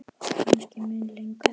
Og kannski mun lengur.